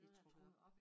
Noget der er trukket op